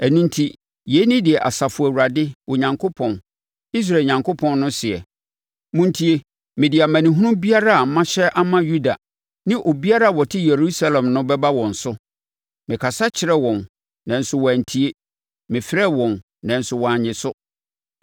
“Ɛno enti, yei ne deɛ Asafo Awurade Onyankopɔn, Israel Onyankopɔn no seɛ: ‘Montie! Mede amanehunu biara a mahyɛ ama Yuda ne obiara a ɔte Yerusalem no bɛba wɔn so. Mekasa kyerɛɛ wɔn, nanso wɔantie, mefrɛɛ wɔn nanso wɔannye so.’ ”